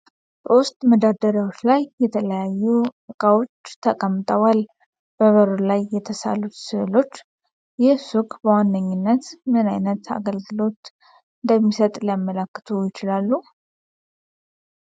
በውስጥ መደርደሪያዎች ላይ የተለያዩ ዕቃዎች ተቀምጠዋል። በበሩ ላይ የተሳሉት ሥዕሎች ይህ ሱቅ በዋነኝነት ምን ዓይነት አገልግሎት እንደሚሰጥ ሊያመለክቱ ይችላሉ?